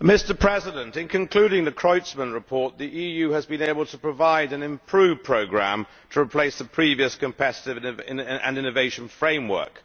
Mr President, in concluding the Creutzmann report, the EU has been able to provide an improved programme to replace the previous competiveness and innovation framework.